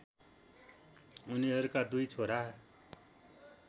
उनीहरुका दुई छोरा